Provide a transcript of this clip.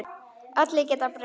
Allir geta breyst.